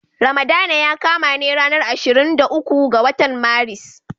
Ramadana ya kama ne a ranar ashirin da uku ga watan Maris.